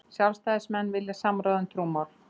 Sjálfstæðismenn vilja samráð um trúmál